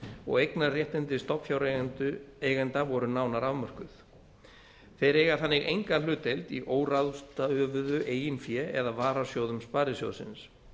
og eignarréttindi stofnfjáreigenda voru nánar afmörkuð þeir eiga þannig enga hlutdeild í óráðstöfuðu eigin fé eða varasjóðum sparisjóðsins